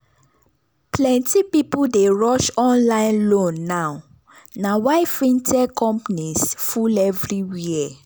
plenty people dey rush online loan now na why fintech companies full everywhere.